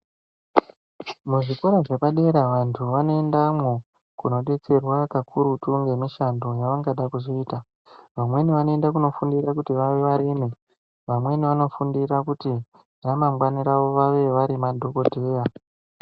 Muzvikora zvepadera vantu vanoendamwo kodetserwa pakurutu ngemushando yavangada kuzoita vamweni vanoenda kunofundira kuti vave varimi vamweni vanofundira kuti ramangwani ravo vave madhokodheya